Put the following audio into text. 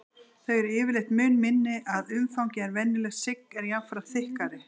Þau eru yfirleitt mun minni að umfangi en venjulegt sigg en jafnframt þykkari.